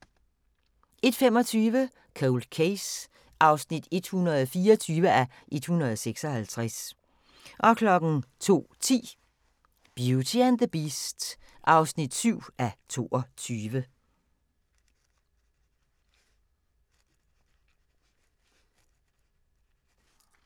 01:25: Cold Case (124:156) 02:10: Beauty and the Beast (7:22)